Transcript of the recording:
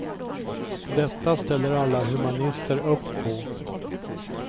Detta ställer alla humanister upp på.